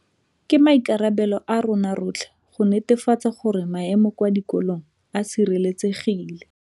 Ke maikarabelo a rona rotlhe go netefatsa gore maemo kwa dikolong a sireletsegile.